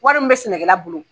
Wari min bɛ sɛnɛ kɛla bolo